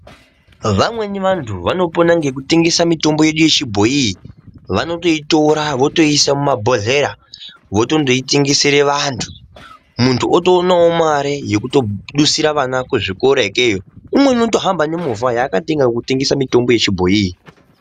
Vamweni vanhu vanopona nekutengesa mitombo yedu yechibhoyi vanoitora vondoisa mumabhohlera vonondoitengesera vantu muntu otoonawo mare yekutodusira vana kuzvikora ikweyo umweni anohamba nemovha yakatenga achitengesa mitombo yechibhoyi iyi.